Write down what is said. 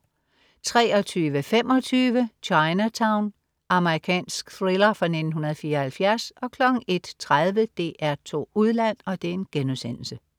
23.25 Chinatown. Amerikansk thriller fra 1974 01.30 DR2 Udland*